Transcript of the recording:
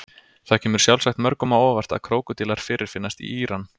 Það kemur sjálfsagt mörgum á óvart að krókódílar fyrirfinnast í Íran.